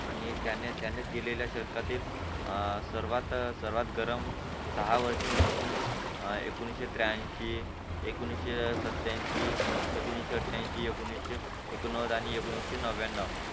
आणि त्याने त्यानेच दिलेल्या शतकातील अ सर्वात सर्वात गरम साहवर्ष म्हणून म्हणजे अ एकोणवीसशे त्र्यानंशी एकोणवीसशे सत्यांशी एकोणविशे आठ्यांशी एकोणवीसशे एकोणनवद आणि एकोणवीसशे नव्यान्नव